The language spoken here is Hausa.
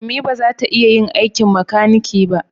Ummi ba za ta iya yin aikin makaniki ba